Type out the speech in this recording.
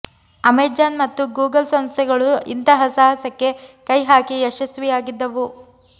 Amazon ಮತ್ತು Google ಸಂಸ್ಥೆಗಳು ಇಂತಹ ಸಾಹಸಕ್ಕೆ ಕೈ ಹಾಕಿ ಯಶಸ್ವಿಯಾಗಿದ್ದವು